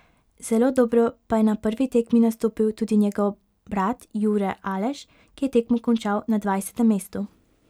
Zelo dobro pa je na prvi tekmi nastopil tudi njegov brat Jure Aleš, ki je tekmo končal na dvajsetem mestu.